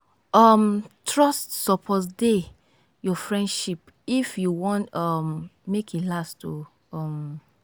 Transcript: um trust suppose dey your friendship if you wan um make e last oo. um